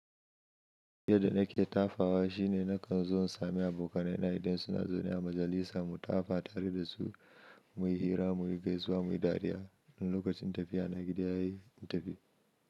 Yadda nake tafawa shi ne nakan zo in sami abokanai na idan suna zaune a majalisa mu tafa tare da su, muyi hira, muyi gaisuwa, muyi dariya. In lokacin tafiya na gida yayi in tafi.